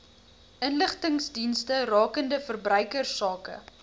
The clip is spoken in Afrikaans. inligtingsdienste rakende verbruikersake